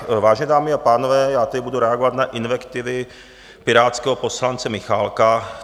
Vážené dámy a pánové, já teď budu reagovat na invektivy pirátského poslance Michálka.